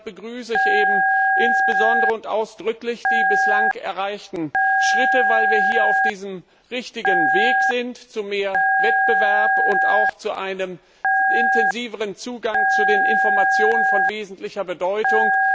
Deshalb begrüße ich insbesondere und ausdrücklich die bislang erreichten Schritte, weil wir auf dem richtigen Weg sind zu mehr Wettbewerb und zu einem intensiveren Zugang zu Informationen von wesentlicher Bedeutung.